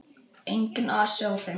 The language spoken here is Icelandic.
Enginn asi á þeim.